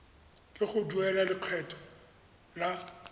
ke go duela lekgetho la